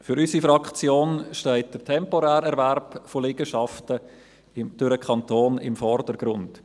Für unsere Fraktion steht der temporäre Erwerb von Liegenschaften durch den Kanton im Vordergrund.